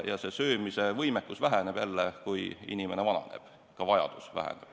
Söömise võimekus väheneb jälle siis, kui inimene vananeb ja toiduvajadus väheneb.